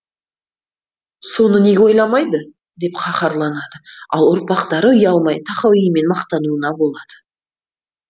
соны неге ойламайды деп қаһарланады ал ұрпақтары ұялмай тахауимен мақтануына болады